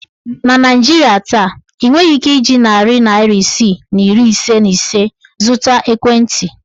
Na Naijiria taa, ị nweghị ike iji narị naịra isii na iri ise na ise zụta ekwentị.